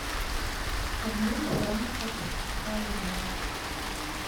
обмен франков в калуге